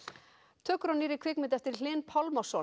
tökur á nýrri kvikmynd eftir Hlyn Pálmason